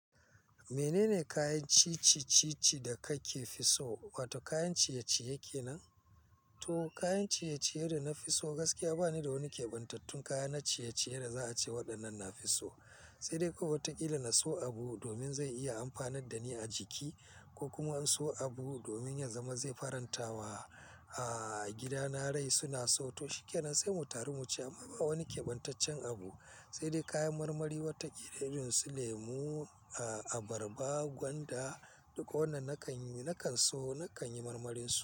Menene kayan cici cici da kake fi so? Wato kayan ciye-ciye kenan? To kayan ciye-ciyen da na fi so gaskiya ba ni da wani kebantattun kaya na ciye-ciye da za a ce waɗannan na fi so. Sai dai ko watakila na so abu domin zai iya amfanar da ni a jiki ko kuma in so abu domin ya zama zai faranta wa, a gida na rai suna so. To shikenan sai mu taru mu ci amma ba wani kebantaccen abu sai dai kayan marmari watakila irin su lemu, abarba, gwanda, duka wannan nakan yi, na kan so, na kan yi marmarin su.